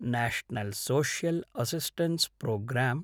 national social assistance programme